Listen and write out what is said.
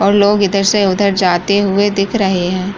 और लोग इधर से उधर जाते हुए दिख रहे हैं।